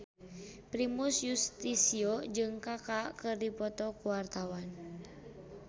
Primus Yustisio jeung Kaka keur dipoto ku wartawan